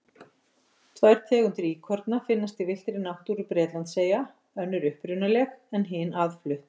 Tvær tegundir íkorna finnast í villtri náttúru Bretlandseyja, önnur upprunaleg en hin aðflutt.